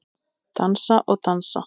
Dansa og dansa.